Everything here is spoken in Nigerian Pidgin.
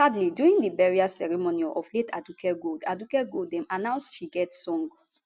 sadly during di burial ceremony of late aduke gold aduke gold dem announce she get song